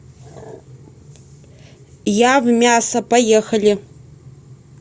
явмясо поехали